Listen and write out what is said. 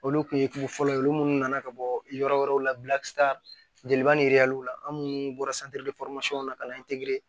Olu kun ye dugu fɔlɔ ye olu minnu nana ka bɔ yɔrɔ wɛrɛw la jeliba ni la an minnu bɔra na ka na